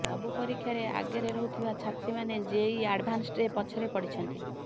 ସବୁ ପରୀକ୍ଷାରେ ଆଗରେ ରହୁଥିବା ଛାତ୍ରୀମାନେ ଜେଇଇ ଆଡଭାନ୍ସଡ୍ରେ ପଛରେ ପଡ଼ିଛନ୍ତି